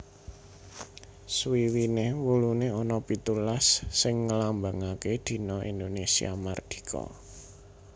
Swiwiné wuluné ana pitulas sing nglambangaké dina Indonésia mardika